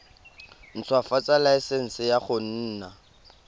ntshwafatsa laesense ya go nna